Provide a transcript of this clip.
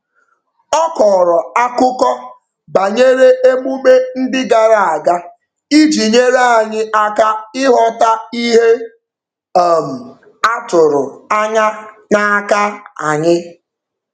Ọ kọrọ akụkọ banyere emume ndị gara aga iji nyere anyị aka ịghọta ihe um a tụrụ anya n'aka anyị.